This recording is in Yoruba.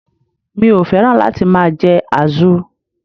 Mi ò féràn láti máa je àzu